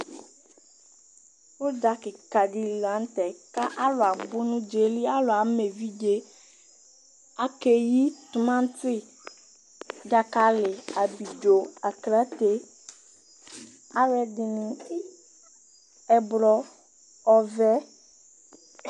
Uɖzà kikã ɖi li la nutɛ Ku ãlu abu nu uɖzà yɛ li Ãlu ama evidze Áke yi timati, ɖzakali, abidzo, aklate Ãlu ɛdini, ɛblɔ ɔʋɛ